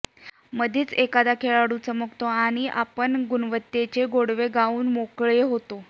मधेच एखादा खेळाडू चमकतो आणि आपण गुणवत्तेचे गोडवे गाऊन मोकळे होतो